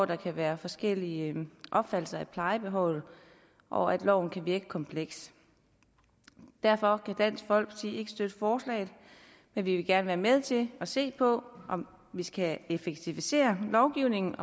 der kan være forskellige opfattelser af plejebehovet og at loven kan virke kompleks derfor kan dansk folkeparti ikke støtte forslaget men vi vil gerne være med til at se på om vi skal effektivisere lovgivningen